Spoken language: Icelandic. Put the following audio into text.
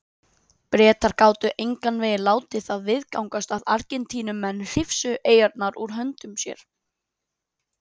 Bretar gátu engan veginn látið það viðgangast að Argentínumenn hrifsuðu eyjarnar úr höndum sér.